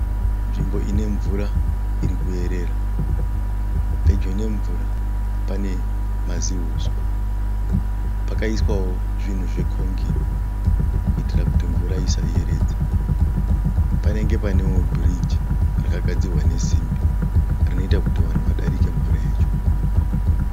Nzvimbo inemvura irikuyerera. Pedyo nemvura pane mazihuswa, pakaiswawo zvinhu zvekongiri kuitira kuti mvura isaiyeredze. Panenge panewo bhiriji rakagadzirwa nesimbi, rinoita kuti vanhu vadarike mvura yacho.